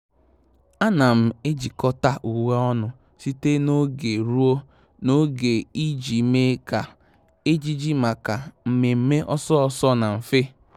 À nà m ejikọ́ta uwe ọnụ site n’ógè ruo n’ógè iji mee kà ejiji màkà mmèmme ọ́sọ́ ọ́sọ́ na mfe.